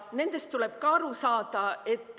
Nendest tuleb ka aru saada.